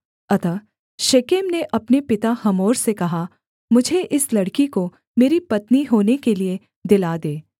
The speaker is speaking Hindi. अतः शेकेम ने अपने पिता हमोर से कहा मुझे इस लड़की को मेरी पत्नी होने के लिये दिला दे